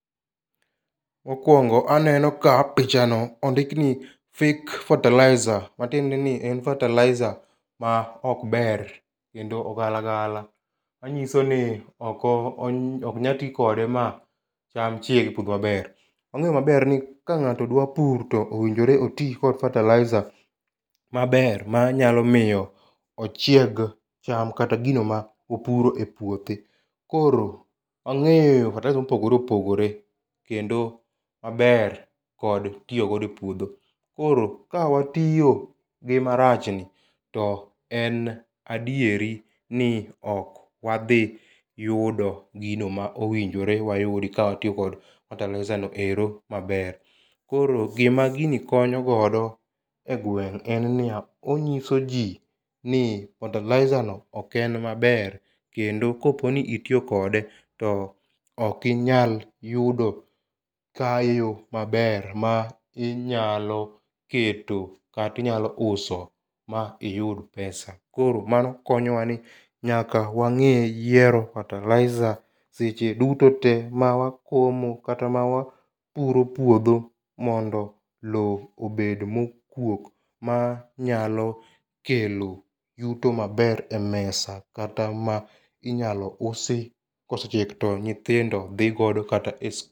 Mokuongo aneno ka pichano ondikni fake fertilizer. Matiendeni en fertilizer ma ok ber kendo ogala gala manyisoni oko ok nyal tii kode ma cham chieg e puodho maber. wang'eyo maber ni ka ng'ato dwa pur to owinjore oti kod fertilizer maber manyalo miyo ochieg cham kata gino ma opuro epuothe. Koro ang'eyo fertilizer mopogore opogore kendo maber kod tiyo godo epuodho. Koro ka watiyo gi marachni to en adieri ni ok wadhi yudo gino ma owinjore wayud ka ok watiyo kod fertilizer no ero maber. Koro gima gini konyo godo egweng' en niya onyisoji ni fertilizerno ok en maber kendo koponi itiyo kode to ok inyal yudo kayo maber ma inyalo keto kata inyalo uso ma iyud pesa. Koro mano konyowa ni nyaka wang'e yiero fertilizer seche duto te ma wakomo kata ma wapuro puodho mondo loo obed mokuok ma nyalo kelo yuto maber emesa kata ma inyalo usi kosechiek to nyithindo dhii godo kata e s